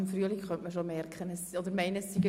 Ich bitte sie, dieser Motion zuzustimmen.